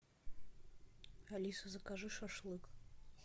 алиса закажи шашлык